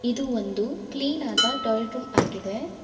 ಇದು ಒಂದು ಕ್ಲೀನಾದ ಟಾಯ್ಲೆಟ್ ರೂಮ್ ಆಗಿದೆ.